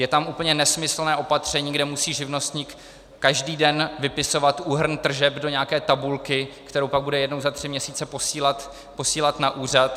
Je tam úplně nesmyslné opatření, kde musí živnostník každý den vypisovat úhrn tržeb do nějaké tabulky, kterou pak bude jednou za tři měsíce posílat na úřad.